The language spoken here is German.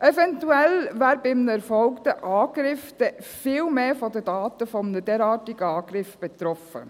Eventuell wären bei einem erfolgten Angriff viel mehr Daten von einem derartigen Angriff betroffen.